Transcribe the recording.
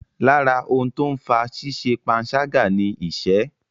Lára ohun tó ń fa ṣíṣẹ panṣágà ni ìṣẹ́.